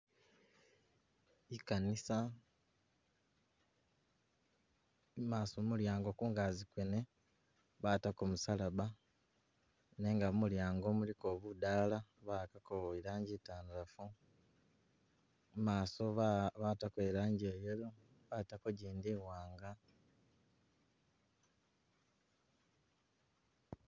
I'kanisa i'maaso mulyango kungazi kwene batako musalaba, nenga mu mulyango muliko budaala, ba'akako i'langi itandalafu, i'maaso ba batako i'langi ya yellow batako gindi i'waanga.